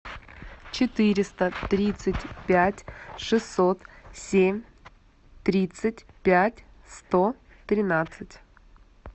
четыреста тридцать пять шестьсот семь тридцать пять сто тринадцать